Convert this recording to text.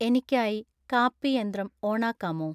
എനിക്കായി കാപ്പി യന്ത്രം ഓണാക്കാമോ